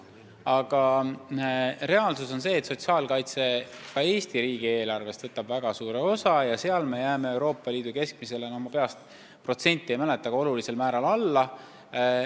Aga reaalsus on see, et sotsiaalkaitse võtab Eesti riigi eelarvest väga suure osa ja seal me jääme Euroopa Liidu keskmisele – ma peast protsenti ei mäleta – olulisel määral alla.